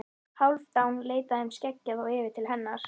Hálfdán leit af þeim skeggjaða og yfir til hennar.